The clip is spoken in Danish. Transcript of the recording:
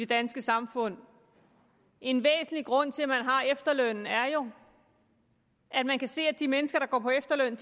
danske samfund en væsentlig grund til at man har efterlønnen er jo at man kan se at de mennesker der går på efterløn